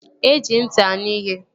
E ji ntị anụ ihe